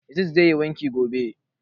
Yazid zai yi wanki gobe